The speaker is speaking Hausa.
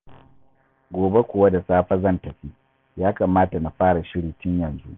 Gobe kuwa da safe zan tafi, ya kamata na fara shiri tun yanzu.